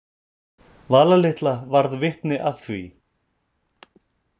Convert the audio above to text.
Vala litla varð vitni að því.